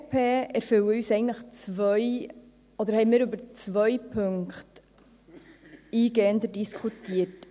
Als EVP haben wir über zwei Punkte eingehender diskutiert.